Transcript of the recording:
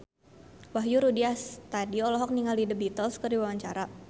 Wahyu Rudi Astadi olohok ningali The Beatles keur diwawancara